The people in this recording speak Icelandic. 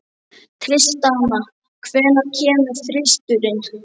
Tristana, hvenær kemur þristurinn?